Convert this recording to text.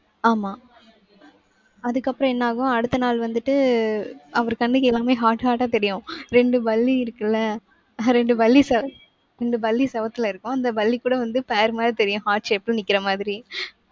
ஆமா. அதுக்கப்புறம் என்ன ஆகும் அடுத்த நாள் வந்துட்டு அவர் கண்ணுக்கு எல்லாமே heart heart ஆ தெரியும். ரெண்டு பல்லி இருக்குல்ல ரெண்டு பல்லி செ~ ரெண்டு பல்லி செவுத்துல இருக்கும். அந்த பல்லி கூட வந்து pair மாதிரி தெரியும் heart shape ல நிக்கிற மாதிரி.